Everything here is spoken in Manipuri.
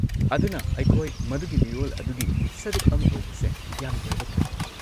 ꯑꯗꯨꯅ ꯑꯩꯈꯣꯏ ꯃꯗꯨꯒꯤ ꯃꯤꯔꯣꯜ ꯑꯗꯨꯒꯤ ꯁꯔꯨꯛ ꯑꯃ ꯑꯣꯏꯕꯁꯦ ꯌꯥꯝꯅ ꯂꯥꯏꯕꯛ ꯐꯩ꯫